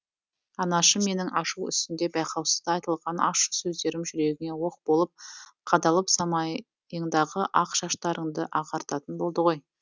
анашым менің ашу үстінде байқаусызда айтылған ащы сөздерім жүрегіңе оқ болып қадалып самайыңдағы ақ шаштарыңды ағартатын болды ғой